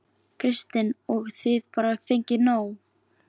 Kristinn: Og þið bara fengið nóg?